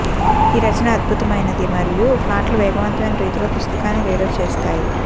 ఈ రచన అద్భుతమైనది మరియు ప్లాట్లు వేగవంతమైన రీతిలో పుస్తకాన్ని రీడర్ చేస్తాయి